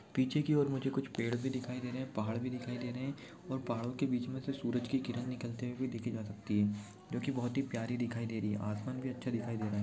पीछे की और मुझे कुछ पेड़ भी दिखाई दे रहे है पहाड़ भी दिखाई दे रहे है और पहाड़ों के बीच मे से सूरज की किरण निकलती हुई देखी जा सक्ती है जो की बहोत प्यारी दिखाई दे रही है आसमान भी अच्छा दिखाई दे रहा है।